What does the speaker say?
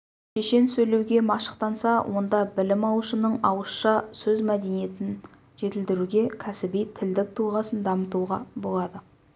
шешен сөйлеуге машықтанса онда білім алушының ауызша сөз мәдениетін жетілдіруге кәсіби тілдік тұлғасын дамытуға болады